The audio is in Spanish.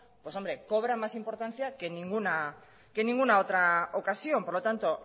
pues hombre cobra más importancia que en ninguna otra ocasión por lo tanto